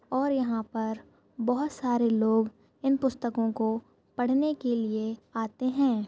और यहाँ पर बहुत सारे लोग इन पुस्तकों को पढ़ने के लिए आते है।